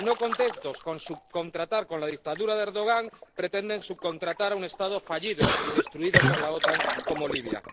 Y, no contentos con subcontratar con la dictadura de Erdogan, pretenden subcontratar a un Estado fallido y destruido por la OTAN, como Libia.